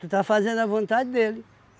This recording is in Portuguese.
Tu está fazendo a vontade dele.